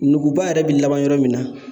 Nuguba yɛrɛ bɛ laban yɔrɔ min na